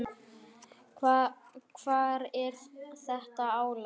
Hvar er þetta álag?